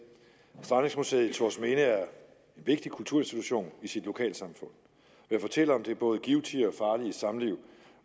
strandingsmuseet i thorsminde er en vigtig kulturinstitution i sit lokalsamfund ved at fortælle om det både givtige og farlige samliv